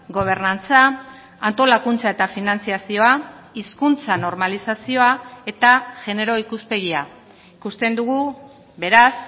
gobernantza antolakuntza eta finantzazioa hizkuntza normalizazioa eta genero ikuspegia ikusten dugu beraz